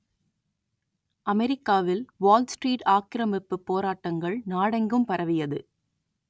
அமெரிக்காவில் Wall Street ஆக்கிரமிப்பு போராட்டங்கள் நாடெங்கும் பரவியது